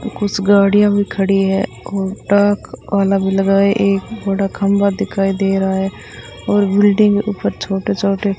कुछ गाड़ियां भी खड़ी है और टाक वाला भी लगाए एक बड़ा खंबा दिखाई दे रहा है और बिल्डिंग ऊपर छोटे छोटे --